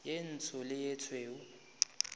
ye ntsho le ye tšhweu